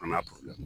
An n'a